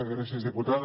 gràcies diputada